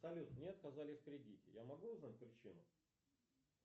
салют мне отказали в кредите я могу узнать причину